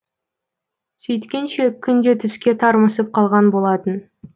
сөйткенше күн де түске тармысып қалған болатын